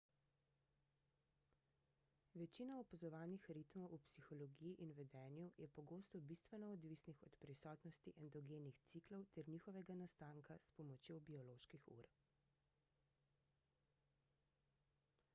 večina opazovanih ritmov v psihologiji in vedenju je pogosto bistveno odvisnih od prisotnosti endogenih ciklov ter njihovega nastanka s pomočjo bioloških ur